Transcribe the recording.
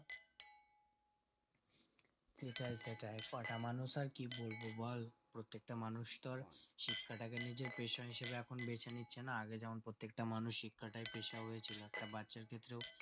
সেটাই সেটাই কথা মানুষ আর কি বলবো বল প্রত্যেকটা মানুষ তো আর শিক্ষাটাকে নিজের পেসহিসাবে বেছেনিচে না আগে যেমন প্রত্যেকটা মানুষ এর শিক্ষা তাই পেশা হয়ে ছিল বাচ্চার ক্ষেত্রেও